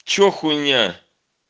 что хуйня